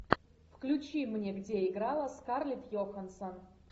включи мне где играла скарлетт йоханссон